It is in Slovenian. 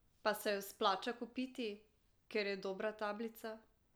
Pa se jo splača kupiti, ker je dobra tablica?